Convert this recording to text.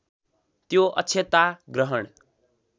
त्यो अक्षता ग्रहण